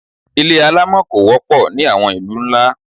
Ilé alámọ̀ kò wọ́pọ̀ ní àwọn ìlú ńlá.